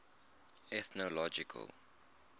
ethnological